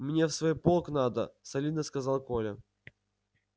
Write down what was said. мне в свой полк надо солидно сказал коля